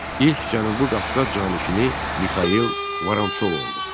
İlk Cənubi Qafqaz canişini Mixail Vorontsov oldu.